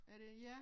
Er det ja